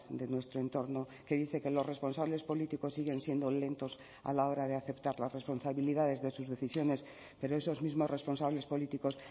de nuestro entorno que dice que los responsables políticos siguen siendo lentos a la hora de aceptar las responsabilidades de sus decisiones pero esos mismos responsables políticos